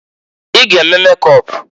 I g'eme mekọp!